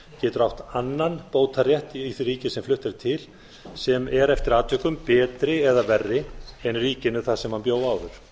getur átt annan bótarétt í því ríki sem flutt er til sem er eftir atvikum betri eða verri en ríkinu þar sem hann bjó áður